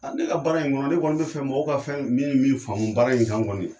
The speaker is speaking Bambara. ne ka baara in kɔnɔ ne kɔni ne bɛ fɛ mɔgɔw ka fɛn min min faamu baara in kan kɔni